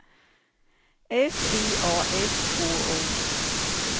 F I A S K O